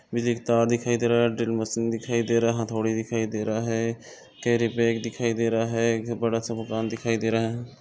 बिजली का तार दिखाई दे रहा ड्रिल मशीन दिखाई दे रहा हथोड़ी दिखाई दे रहा है कैरिबॅग दिखाई दे रहा है एक बड़ा सा मकान दिखाई दे रहा है।